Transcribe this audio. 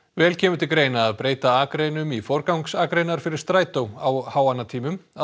vel kemur til greina að breyta akreinum í forgangsakreinar fyrir strætó á háannatímum að